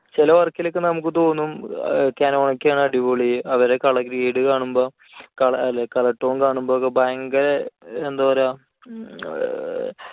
ചില work ൽ ഒക്കെ നമുക്ക് തോന്നും canon ഒക്കെ ആണ് അടിപൊളി. അവരുടെ colour grade കാണുമ്പോൾ അല്ല color tone കാണുമ്പോഴൊക്കെ ഭയങ്കര ഏർ